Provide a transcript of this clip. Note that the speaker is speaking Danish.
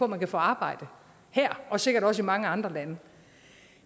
man kan få arbejde her og sikkert også i mange andre lande